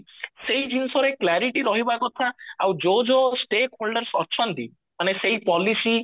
ସେଇ ଜିନିଷରେ clarity ରହିବା କଥା ଆଉ ଯୋଉ ଯୋଉ step olders ଅଛନ୍ତି ମାନେ ସେଇ policy